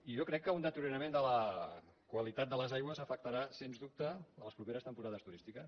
i jo crec que un deteriorament de la qualitat de les aigües afectarà sens dubte les properes temporades turístiques